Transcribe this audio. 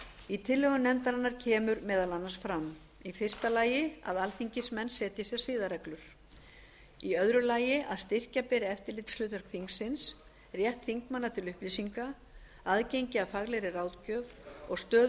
í tillögum nefndarinnar kemur meðal annars fram fyrstu að alþingismenn setji sér siðareglur annars að styrkja beri eftirlitshlutverk þingsins rétt þingmanna til upplýsinga aðgengi að faglegri ráðgjöf og stöðu